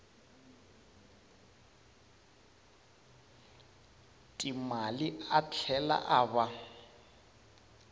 timali a tlhela a va